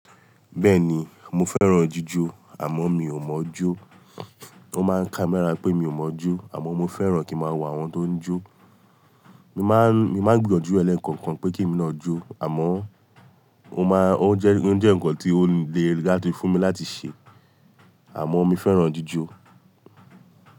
Bẹ́ẹ̀ni, mo fẹ́ràn jíjó àmọ́ mi ò mọ̀ jó. Ó máa ń ká mérà pé mi ò mọ̀ jó àmọ́ mo fẹ́ràn kí ma wá àwọn tó ń jó. Mi máà ń, mi má ń gbìyànjú ẹ̀lẹ́ kankan pé kí mi ná jó àmọ́ ó máa, ó jẹ́, ó jẹ́ nǹkan tí ó le rí láti fún mi láti ṣe, àmọ́ mi fẹ́ràn jíjó.